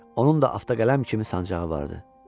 Onun da avtoqələm kimi sancağı vardı.